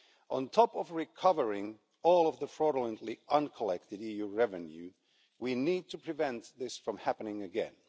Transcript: On top of recovering all of the fraudulently uncollected EU revenue, we need to prevent this from happening again.